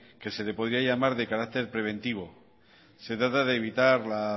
que se le podría llamar de carácter preventivo se trata de evitar la